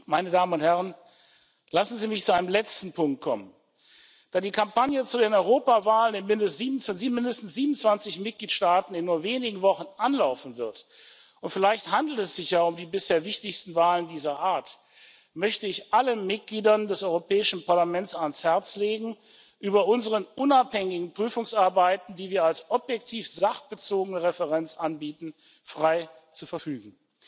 Meine Damen und Herren, lassen Sie mich zu einem letzten Punkt kommen Da die Kampagne zur Europawahl in mindestens 27 Mitgliedstaaten in nur wenigen Wochen anlaufen wird und vielleicht handelt es sich ja um die bisher wichtigste Wahl dieser Art möchte ich allen Mitgliedern des Europäischen Parlaments ans Herz legen, über unsere unabhängigen Prüfungsarbeiten, die wir als objektiv sachbezogene Referenz anbieten, frei zu verfügen.